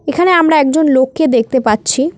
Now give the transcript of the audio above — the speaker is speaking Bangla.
এখানে আমরা একজন লোককে দেখতে পাচ্ছি।